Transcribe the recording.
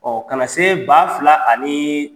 Ɔ kana na se ba fila ani